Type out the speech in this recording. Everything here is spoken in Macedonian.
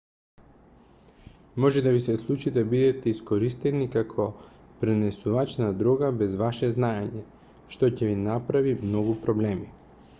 може да ви се случи да бидете искористени како пренесувач на дрога без ваше знаење што ќе ви направи многу проблеми